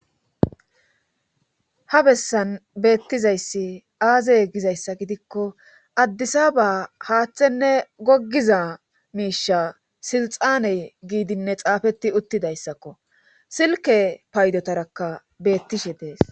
Ha bessan beettizayssi aazey gizayssa gidikko addisaba haaththenne goggiza miisha silxaaney giidinne xaafeti uttidayssakko silke paydotarakka beettishe dees